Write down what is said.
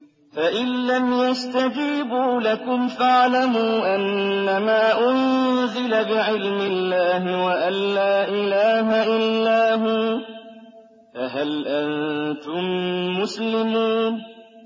فَإِلَّمْ يَسْتَجِيبُوا لَكُمْ فَاعْلَمُوا أَنَّمَا أُنزِلَ بِعِلْمِ اللَّهِ وَأَن لَّا إِلَٰهَ إِلَّا هُوَ ۖ فَهَلْ أَنتُم مُّسْلِمُونَ